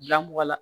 Bila mɔgɔ la